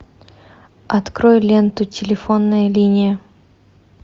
открой ленту телефонная линия